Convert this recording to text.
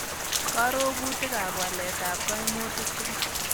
Karogutikap waletap kaimutik tugul